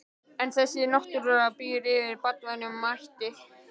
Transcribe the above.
En þessi náttúra býr yfir banvænum mætti.